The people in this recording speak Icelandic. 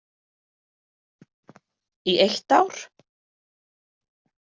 Í eitt ár.